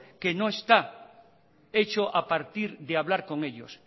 que no está hecho a partir de hablar con ellos